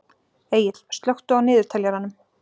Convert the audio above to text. Egill, slökktu á niðurteljaranum.